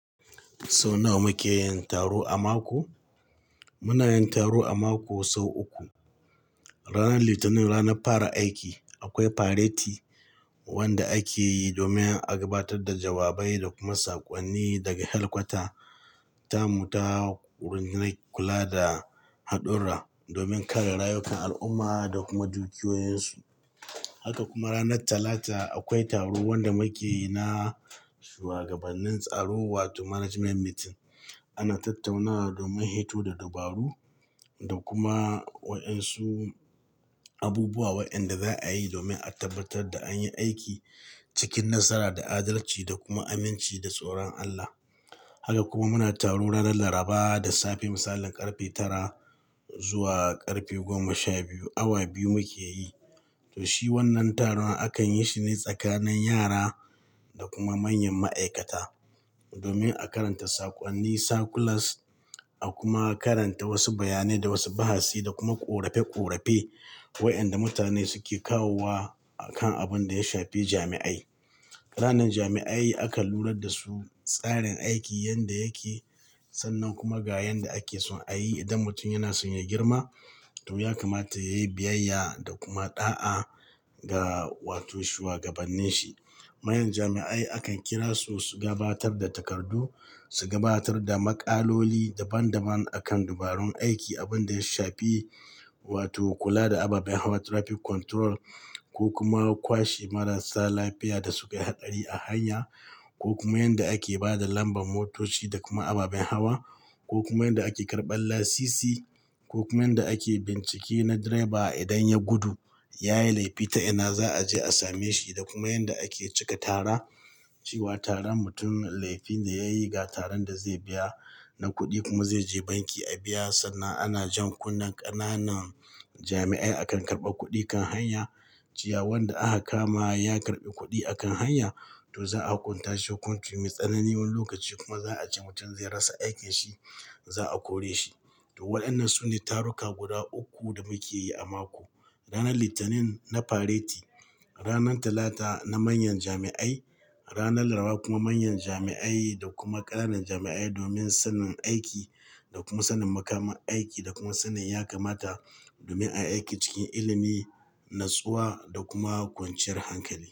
Sau nawa muke yin taro a mako? Muna yin taro a mako sau uku. Ranar litinin, ranar fara aiki, akwai fareti wanda ake yi domin a gabatar da jawabai da kuma saƙonni daga helkwata. Ta mu ta rundinai kula da haɗurra domin kare rayukan al'umma da kuma dukiyoyinsu. Haka kuma ranar Talata akwai taro wanda muke yi na shuwagabannin tsaro wato management meeting. Ana tattaunawa domin hito da dabaru da kuma waɗansu abubuwa wayanda za a yi domin a tabbatar da an yi aiki cikin nasara, da adalci, da kuma aminci da tsoron Allah. Haka kuma muna taro ranar Laraba da safe misalin ƙarfe tara zuwa ƙarfe goma sha biyu, awa biyu muke yi. To shi wannan taron akan yi shi ne tsakanin yara da kuma manyan ma'aikata domin a karanta saƙonni, sakulas a kuma karanta wasu bayanai da wasu bahasi da kuma ƙorafe ƙorafe wayanda mutane suke kawo wa a kan abin da ya shafi jami'ai. Wayannan jami'ai akan lurar da su tsarin aiki yadda yake sannan kuma ga yanda ake so a yi idan mutum yana son ya girma to ya kamata yayi biyayya da kuma ɗa'a ga wato shuwagabannin shi. Manyan jami'ai akan kira su, su gabatar da takardu, su gabatar da maƙaloli daban daban akan dabarun aiki abin da ya shafi wato kula da ababen hawa, traffic control ko kuma kwashe marasa lafiya da sukayi haɗari a hanya ko kuma yadda ake bada kambar motoci da kuma ababen hawa. Ko kuma yadda ake karɓar lasisi ko kuma yadda ake bincike na driba idan ya gudu yayi laifi ta ina za'a same shi da kuma yadda ake cika tara cewa tara mutun laifine yayi cewa ga taran da za'a biya wannan kudi zaije banki ya biya sannan ana jan kunnen ƙananan jami'ai akan karɓar kudi akan hanya cewa wanda aka kama ya kaɓi kudi a kan hanya to za a hukun tashi hukunci me tsanani wani lokaci kuma za a ce mutun zai rasa aikin sa za a ko reshi to wayannan sune taruka guda ukku da muke yi a mako. Ranar Litinin na fareti, ranar Talata na manyan jami'ai, ranar Laraba kuma manyan jami'ai da kuma ƙananan jami'ai domin sanin aiki da kuma sanin makamar aiki da kuma sanin ya kamata domin ayi aiki cikin ilimi natsuwa da kuma kwan ciyar hankali.